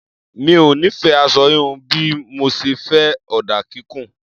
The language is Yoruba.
Mi ò nífẹ̀ẹ́ aṣọ híhun bí mo ṣe fẹ́ ọ̀dà kíkùn.